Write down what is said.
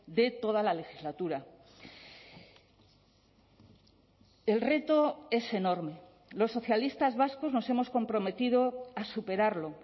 de toda la legislatura el reto es enorme los socialistas vascos nos hemos comprometido a superarlo